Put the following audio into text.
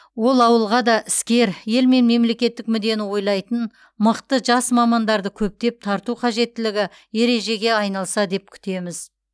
ол ауылға да іскер ел мен мемлекеттік мүддені ойлайтын мықты жас мамандарды көптеп тарту қажеттілігі ережеге айналса деп күтеміз